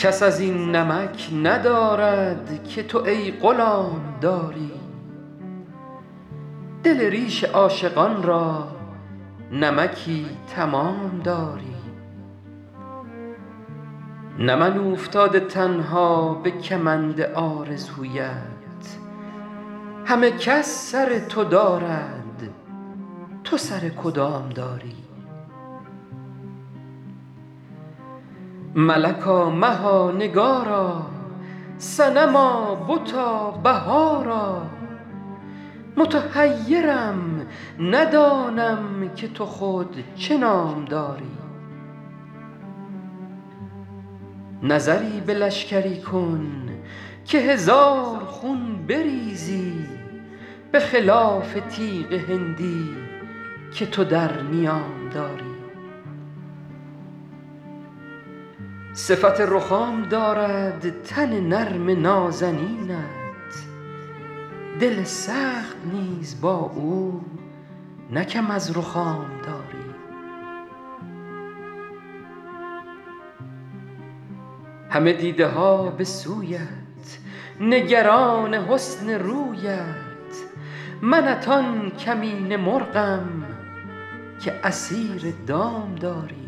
کس از این نمک ندارد که تو ای غلام داری دل ریش عاشقان را نمکی تمام داری نه من اوفتاده تنها به کمند آرزویت همه کس سر تو دارد تو سر کدام داری ملکا مها نگارا صنما بتا بهارا متحیرم ندانم که تو خود چه نام داری نظری به لشکری کن که هزار خون بریزی به خلاف تیغ هندی که تو در نیام داری صفت رخام دارد تن نرم نازنینت دل سخت نیز با او نه کم از رخام داری همه دیده ها به سویت نگران حسن رویت منت آن کمینه مرغم که اسیر دام داری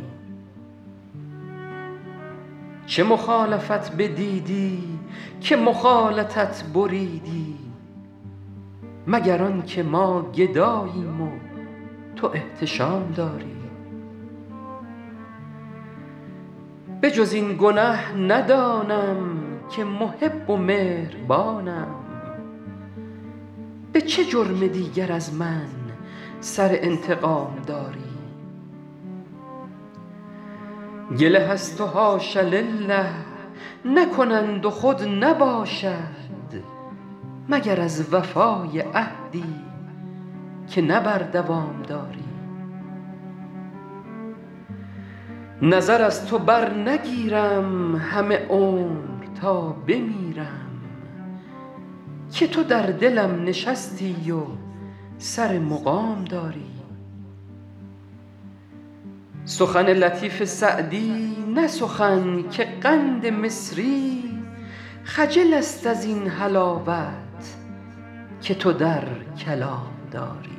چه مخالفت بدیدی که مخالطت بریدی مگر آن که ما گداییم و تو احتشام داری به جز این گنه ندانم که محب و مهربانم به چه جرم دیگر از من سر انتقام داری گله از تو حاش لله نکنند و خود نباشد مگر از وفای عهدی که نه بر دوام داری نظر از تو برنگیرم همه عمر تا بمیرم که تو در دلم نشستی و سر مقام داری سخن لطیف سعدی نه سخن که قند مصری خجل است از این حلاوت که تو در کلام داری